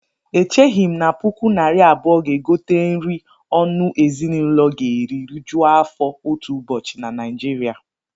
Echeghị m na puku naira abụọ ga-egote nri ọnụ ezinụlọ ga-eri rijuo afọ otu ụbọchị na Naịjiria